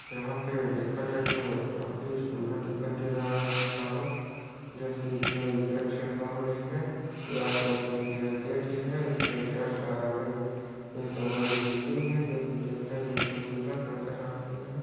यहाँ पे देखा जाए तो काफी सुन्दर दिखाई दे रहा ये टावर जोकि कोई गेट से कम नहीं है या तो फिर ही है उसके जस्ट आगे एक बड़ी बिल्डिंग है जोकि दिखने में खूबसूरत नज़र आ रही है।